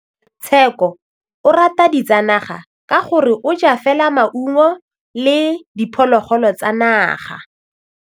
Tshekô o rata ditsanaga ka gore o ja fela maungo le diphologolo tsa naga.